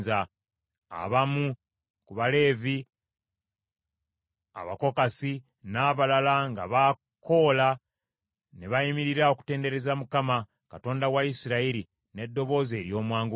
Abamu ku Baleevi, Abakokasi n’abalala nga Bakoola ne bayimirira okutendereza Mukama , Katonda wa Isirayiri, n’eddoboozi ery’omwanguka.